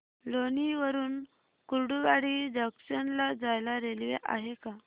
लोणी वरून कुर्डुवाडी जंक्शन ला जायला रेल्वे आहे का